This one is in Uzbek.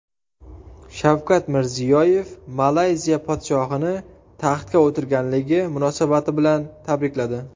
Shavkat Mirziyoyev Malayziya podshohini taxtga o‘tirganligi munosabati bilan tabrikladi.